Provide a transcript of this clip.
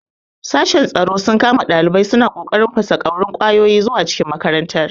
Sashen tsaro sun kama ɗalibai suna ƙoƙarin fasaƙorin ƙwayoyi zuwa cikin makarantar.